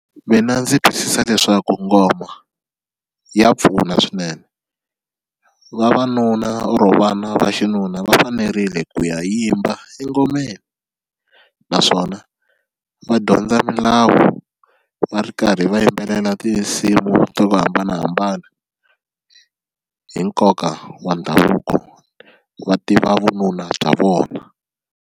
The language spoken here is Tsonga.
Mina ndzi twisisa leswaku ngoma ya pfuna swinene vavanuna or vana va xinuna va fanerile ku ya yimba engomeni naswona va dyondza milawu va ri karhi va yimbelela tinsimu to hambanahambana hi nkoka wa ndhavuko va tiva vununa bya vona.